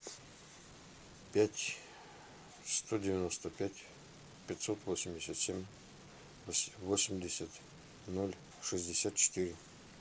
пять сто девяносто пять пятьсот восемьдесят семь восемьдесят ноль шестьдесят четыре